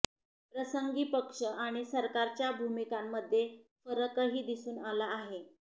प्रसंगी पक्ष आणि सरकारच्या भूमिकांमध्ये फरकही दिसून आला आहे